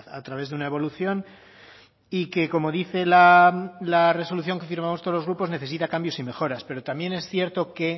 a través de una evolución y que como dice la resolución que firmamos todos los grupos necesita cambios y mejoras pero también es cierto que